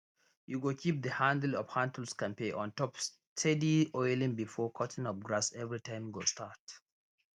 you go keep the handle of handtools kampe ontop steady oiling before cutting of grass everytime go start